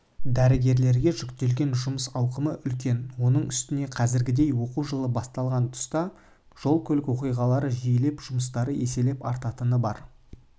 дәрігерлерге жүктелген жұмыс ауқымы үлкен оның үстіне қазіргідей оқу жылы басталған тұста жол-көлік оқиғалары жиілеп жұмыстары еселеп артатыны бар